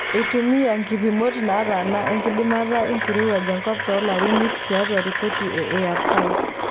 Eitumia nkipimot naataana enkidimata enkirowuaj enkop toolaarin iip tiatua ripoti e AR5.